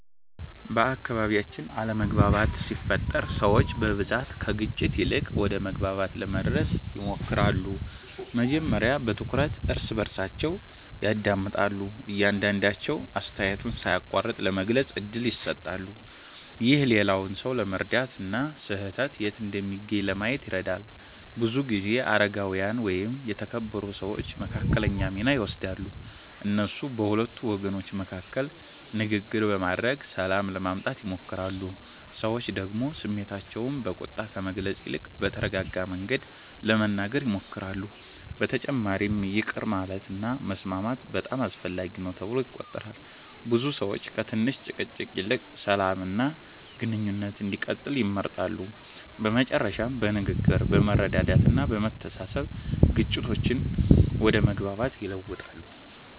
በአካባቢያችን አለመግባባት ሲፈጠር ሰዎች በብዛት ከግጭት ይልቅ ወደ መግባባት ለመድረስ ይሞክራሉ። መጀመሪያ በትኩረት እርስ በርሳቸውን ያዳምጣሉ፣ እያንዳቸዉ አስተያየቱን ሳይቋረጥ ለመግለጽ እድል ይሰጣሉ። ይህ ሌላውን ሰው ለመረዳት እና ስህተት የት እንደሚገኝ ለማየት ይረዳል። ብዙ ጊዜ አረጋዊያን ወይም የተከበሩ ሰዎች መካከለኛ ሚና ይወስዳሉ። እነሱ በሁለቱ ወገኖች መካከል ንግግር በማድረግ ሰላም ለማምጣት ይሞክራሉ። ሰዎች ደግሞ ስሜታቸውን በቁጣ ከመግለጽ ይልቅ በተረጋጋ መንገድ ለመናገር ይሞክራሉ። በተጨማሪም ይቅር ማለት እና መስማማት በጣም አስፈላጊ ነው ተብሎ ይቆጠራል። ብዙ ሰዎች ከትንሽ ጭቅጭቅ ይልቅ ሰላም እና ግንኙነት እንዲቀጥል ይመርጣሉ። በመጨረሻም በንግግር፣ በመረዳዳት እና በመተሳሰብ ግጭቶች ወደ መግባባት ይለወጣሉ።